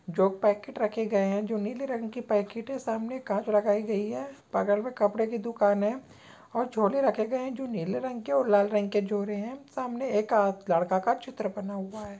जो पैकेट रखे गए है जो नीले रंग के पैकेट है सामने काँच लगाई गयी है बगल में कपडे के दुकान है और झोले रखे गए है जो नीले रंग और लाल रंग के झोरे है सामने एक अ लड़का का चित्र बना हुआ है।